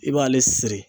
I b'ale siri